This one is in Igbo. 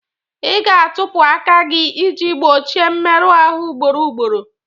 Ị ga-atọpụ aka gị iji gbochie mmerụ ahụ ugboro ugboro.